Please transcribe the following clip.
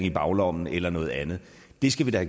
i baglommen eller noget andet det skal vi da